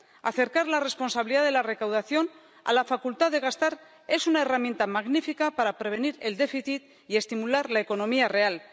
Acercar la responsabilidad de la recaudación a la facultad de gastar es una herramienta magnífica para prevenir el déficit y estimular la economía real.